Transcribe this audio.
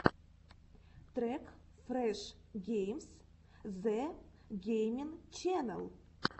трек фреш геймс зэ геймин ченел